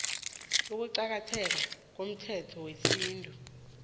ukuqakatheka komthetho wesintu